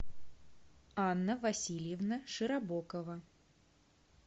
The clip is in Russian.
анна васильевна широбокова